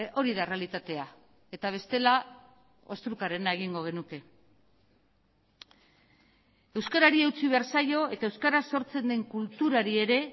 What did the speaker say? hori da errealitatea eta bestela ostrukarena egingo genuke euskarari eutsi behar zaio eta euskara sortzen den kulturari ere